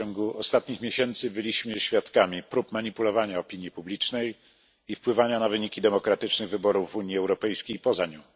W ciągu ostatnich miesięcy byliśmy świadkami prób manipulowania opinią publiczną i wpływania na wyniki demokratycznych wyborów w Unii Europejskiej i poza nią.